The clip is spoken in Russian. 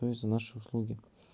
то есть за наши услуги